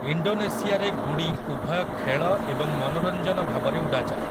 ଇଣ୍ଡୋନେସିଆରେ ଗୁଡ଼ି ଉଭୟ ଖେଳ ଏବଂ ମନୋରଞ୍ଜନ ଭାବରେ ଉଡ଼ାଯାଏ ।